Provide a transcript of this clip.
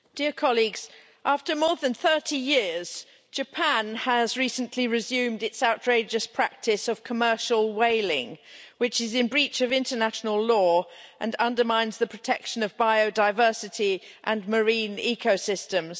Madam President, after more than 30 years Japan has recently resumed its outrageous practice of commercial whaling, which is in breach of international law and undermines the protection of biodiversity and marine ecosystems.